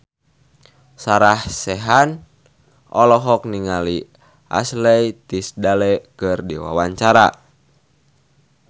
Sarah Sechan olohok ningali Ashley Tisdale keur diwawancara